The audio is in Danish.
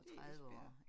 Det er Esbjerg